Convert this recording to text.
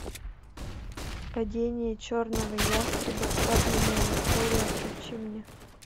падение черного ястреба подлинная история включи мне